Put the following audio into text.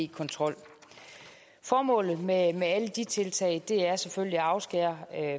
kontrol formålet med alle de tiltag er selvfølgelig at afskære